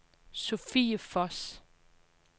Sofie Voss